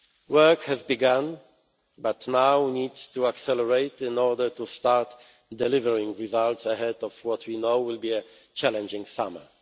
Work has begun but now needs to accelerate in order to start delivering results ahead of what we know will be a challenging summer.